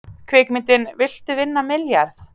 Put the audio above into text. Kvikmyndin Viltu vinna milljarð?